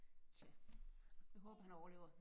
Tja jeg håber han overlever